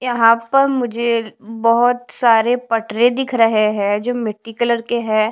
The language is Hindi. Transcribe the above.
यहाँ पर मुझे बहुत सारे पटरे दिख रहे हैंजो मिट्टी कलर के हैं।